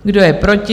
Kdo je proti?